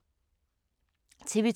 TV 2